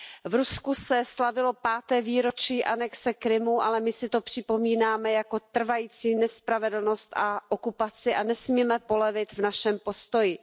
V Rusku se slavilo páté výročí anexe Krymu, ale my si to připomínáme jako trvající nespravedlnost a okupaci a nesmíme polevit v našem postoji.